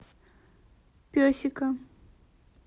песика